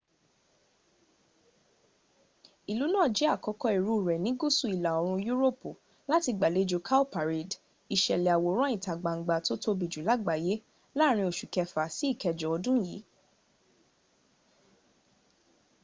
ìlú náà jẹ àkọ́kọ́ irú rẹ ní gúúsu ìlà-òrùn yúróòpù làti gbàlẹjò cowparade ìsẹ̀lè àwòrán ìtagbangba tó tóbi jù làgbàyà lààrin osù kẹfà sí ìkẹjọ odùn yí